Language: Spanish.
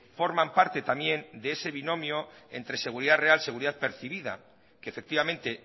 forman parte también de ese binomio entre seguridad real seguridad percibida que efectivamente